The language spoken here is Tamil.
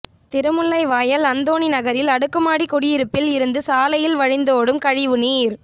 திருமுல்லைவாயல் அந்தோணி நகரில் அடுக்குமாடி குடியிருப்பில் இருந்து சாலையில் வழிந்தோடும் கழிவுநீர்